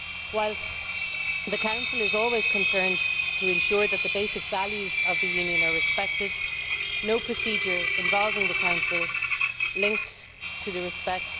Whilst the Council is always concerned to ensure that the basic values of the Union are respected, no procedure involving the Council linked to respect